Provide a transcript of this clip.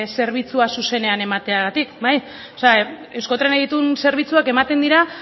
zerbitzua zuzenean emateagatik bai o sea euskotrenek dituen zerbitzuak ematen dira